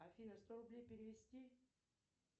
афина сто рублей перевести